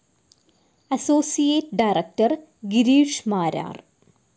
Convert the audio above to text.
Associate director Girish Marar.